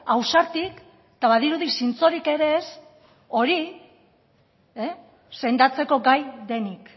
ausartik eta badirudi zintzorik ere ez hori sendatzeko gai denik